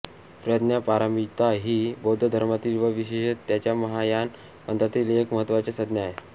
प्रज्ञापारमिता ही बौद्ध धर्मातील व विशेषतः त्याच्या महायान पंथातील एक महत्त्वाची संज्ञा आहे